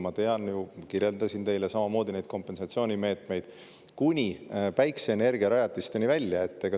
Ma tean ju seda ja kirjeldasin teile neid kompensatsioonimeetmeid – kuni päikeseenergiarajatisteni välja.